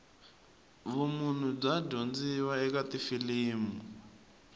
vumunhu bya dyondziwa eka tifilimu